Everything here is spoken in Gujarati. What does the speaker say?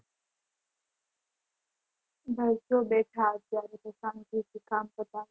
ભઈ તો બેઠા અત્યારે દુકાન થી કામ પતાવી